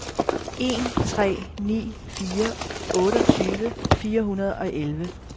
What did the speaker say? en tre ni fire otteogtyve fire hundrede og elleve